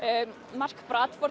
mark